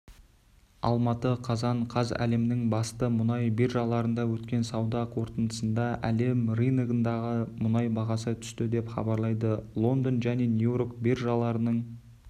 алматы қазан қаз әлемнің басты мұнай биржаларында өткен сауда қортындысында әлем рыногындағы мұнай бағасы түсті деп хабарлайды лондон және нью-йорк биржаларының